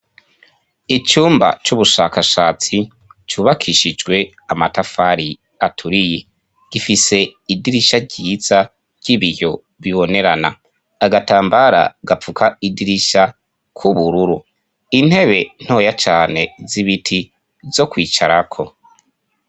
Icumba c'ubushakashatsi cubakishijwe amatafari aturiye. Gifise idirisha ryiza ry'ibiyo bibonerana. Agatambara gapfuka idirisha k'ubururu. Intebe ntoya cane z'ibiti zo kwicarako.